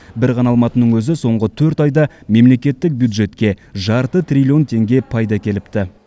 бір ғана алматының өзі соңғы төрт айда мемлекеттік бюджетке жарты триллион теңге пайда әкеліпті